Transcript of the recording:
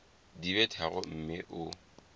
di be tharo mme o